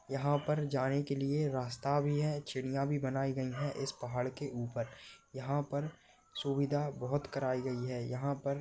यहाँ पर जाने के लिए रास्ता भी है सिडिया भी बनाई गई है। इस पहाड़ के उपर यहाँ पर सुविधा बहुत कराई गई है। यहाँ पर--